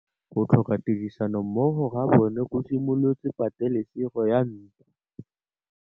Go tlhoka tirsanommogo ga bone go simolotse patêlêsêgô ya ntwa.